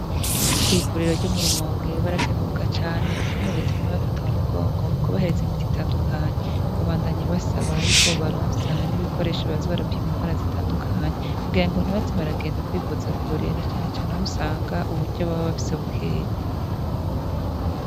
Kw'ivuriro ryo mu Rumonge barakenguruka cane ukuntu Reta iguma ibafata mu mugongo mu kubahereza imiti itandukanye. Babandanya basaba yuko bobaronsa n'ibikoresho boza barapima ingwara zitandukanye kugira ngo ntibaze baragenda kwivuza kure na cane cane aho usanga uburyo baba bafise bukeyi.